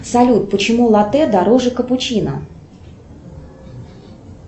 салют почему латте дороже капучино